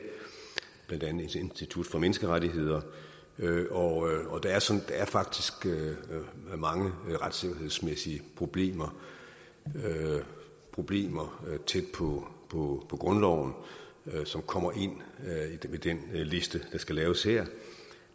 blandt andet fra institut for menneskerettigheder der er faktisk mange retssikkerhedsmæssige problemer problemer tæt på på grundloven som kommer med den liste der skal laves her